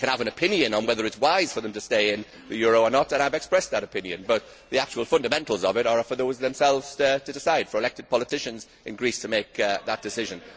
I can have an opinion on whether it is wise for them to stay in the euro or not and I have expressed that opinion, but the actual fundamentals of it are for them themselves to decide, for elected politicians in Greece to make that decision.